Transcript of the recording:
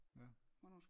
Ja